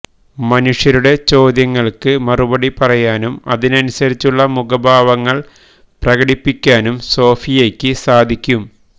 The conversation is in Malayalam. മനുഷ്യരുടെ ചോദ്യങ്ങള്ക്ക് മറുപടി പറയാനും അതിനനുസരിച്ചുളള മുഖഭാവങ്ങള് പ്രകടിപ്പിക്കാനും സോഫിയയ്ക്ക് സാധിക്കും